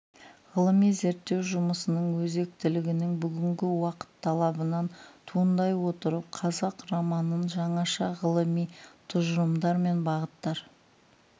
ғылыми зерттеу жұмысының өзектілігінің бүгінгі уақыт талабынан туындай отырып қазақ романын жаңаша ғылыми тұжырымдар мен бағыттар